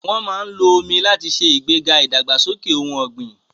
Wọ́n máa ń lo omi láti ṣe ìgbéga ìdàgbàsókè ohun ọ̀gbìn.